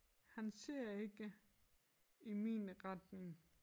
Han ser ikke i min retning